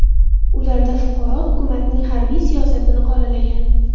Ularda fuqaro hukumatning harbiy siyosatini qoralagan.